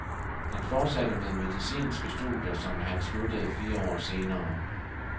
Han fortsatte med medicinske studier, som han sluttede fire år senere.